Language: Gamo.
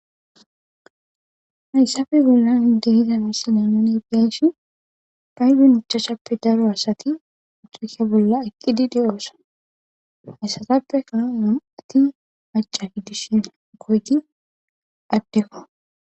Hayssafe bollan deyiza misilen bayshini ayiba machaclshappe daro asati uxuke bolla eqqidi de7oosa hayssatappe kano nam7ati maca giddishena goyti addefa.